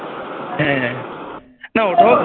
হ্যাঁ হ্যাঁ না ওটাও